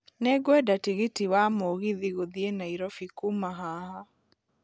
Nĩ ngwenda tigiti wa mũgithi gũthiĩ nairobi kuuma haha